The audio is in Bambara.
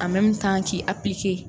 A k'i